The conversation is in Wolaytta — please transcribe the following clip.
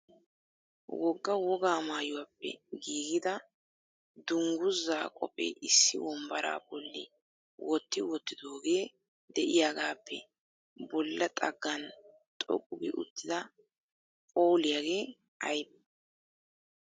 Woga wogaa maayuwappe giigida dungguzza kophe issi wombbaara bolli wotti wottidooge de'iyaagappe bolla xaggan xoqqu gi uttida phooliyaagee aybne ?